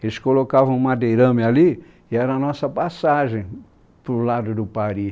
Eles colocavam um madeirame ali e era a nossa passagem para o lado do Paris.